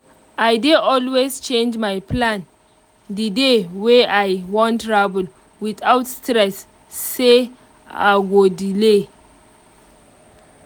i dey always change my plan the day wey i wan travel without stress say i go delay